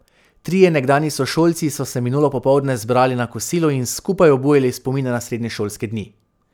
Trije nekdanji sošolci so se minulo popoldne zbrali na kosilu in skupaj obujali spomine na srednješolske dni.